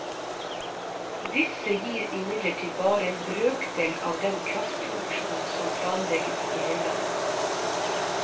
Disse gir imidlertid bare en brøkdel av den kraftproduksjonen som planlegges i høylandet.